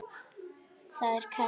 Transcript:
Það er kalt.